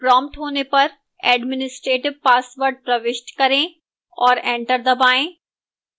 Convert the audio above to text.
prompted होने पर administrative password प्रविष्ट करें और enter दबाएं